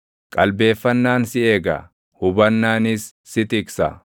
Qalbeeffannaan si eega; hubannaanis si tiksa.